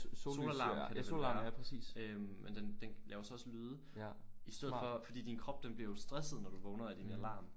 Solarm kalder de den øh men den den laver så også lyde i stedet for fordi din krop den bliver jo stresset når du vågner af din alarm